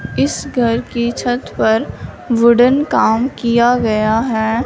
इस घर की छत पर वुडेन काम किया गया है।